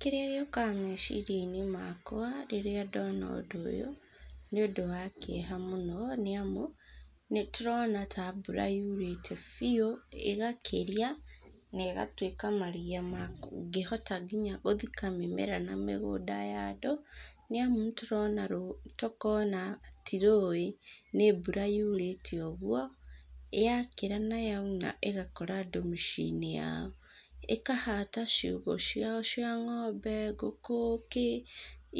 Kĩrĩa gĩũkaga meciria-inĩ makwa rĩrĩa ndona ũndũ ũyũ, nĩ ũndũ wa kĩeha mũno nĩ amu, nĩ tũrona ta mbura yurĩte biũ, ĩgakĩria na ĩgatuĩka maria mangĩhota nginya gũthika nginya mĩmera na mĩgũnda ya andũ. Nĩ amũ nĩ turona rũĩ, ta okorwo o na ti rũĩ, nĩ mbura yurĩte ũguo, ya kĩra na yauna ĩgakora andũ mĩciĩ-inĩ yao. ĩkahata ciũgũ ciao cia ng'ombe, ngũkũ, kĩ,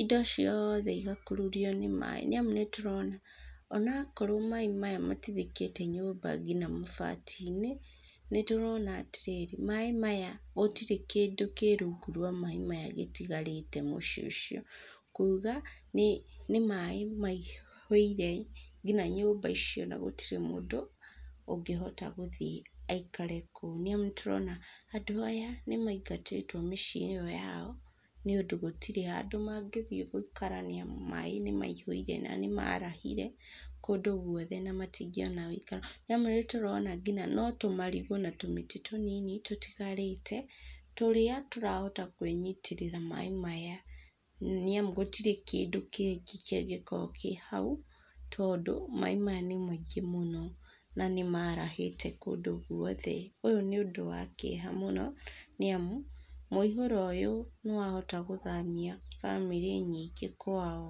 indo ciothe igakururio nĩ maaĩ. Nĩ amu nĩ tũrona o na okorwo maaĩ maya matithikĩte nyũmba nginya mabati-inĩ, nĩ tũrona atĩ rĩrĩ, maaĩ maya, gũtirĩ kĩndũ kĩ rungu rwa maaĩ maya gĩtigarĩte mũciĩ ũcio. Kuuga, nĩ nĩ maaĩ maihũire nginya nyũmba icio na gũtirĩ mũndũ ũngĩhota gũthiĩ aikare kũu. Nĩ amu nĩ tũrona andũ aya nĩ maingatĩtwo mĩciĩ-inĩ ĩyo yao nĩũndũ gũtirĩ andũ mangĩ thiĩ gũikara nĩ amu maaĩ nĩ maihũire na nĩ maarahire kũndũ gũothe na matingĩona wũikaro. Nĩ amu nĩ tũrona nginya no tũmarigũ na tũmĩtĩ tũnini tũtigarĩte tũrĩa tũrahota kwĩnyitĩrĩra maaĩ maya. Nĩ amu gũtirĩ kĩndũ kĩngĩ kĩngĩkorwo kĩ hau tondũ maaĩ maya nĩ maingĩ mũno na nĩ maarahĩte kũndũ guothe. Ũyũ nĩ ũndũ wa kĩeha mũno nĩ amu mũihũro ũyũ nĩ wahota gũthamia bamĩrĩ nyingĩ kwao.